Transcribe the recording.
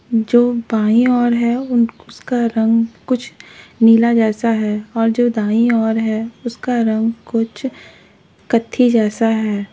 जो बाईं ओर है उं उसका रंग कुछ नीला जैसा है और जो दाईं ओर है उसका रंग कुछ कत्थी जैसा है।